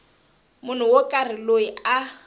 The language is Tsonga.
munhu wo karhi loyi a